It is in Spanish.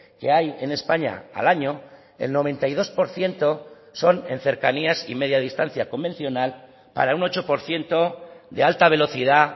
que hay en españa al año el noventa y dos por ciento son en cercanías y media distancia convencional para un ocho por ciento de alta velocidad